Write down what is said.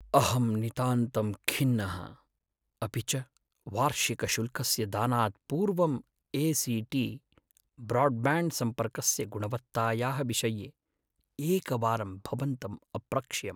अहं नितान्तं खिन्नः अपि च वार्षिकशुल्कस्य दानात् पूर्वं ए सी टी ब्रोड्ब्याण्ड्सम्पर्कस्य गुणवत्तायाः विषये एकवारं भवन्तम् अप्रक्ष्यम्।